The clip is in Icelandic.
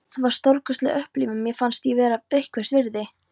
Það var stórkostleg upplifun: Mér fannst ég vera einhvers virði.